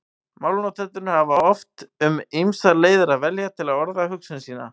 Málnotendur hafa oft um ýmsar leiðir að velja til að orða hugsun sína.